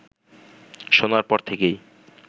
শোনার পর থেকেই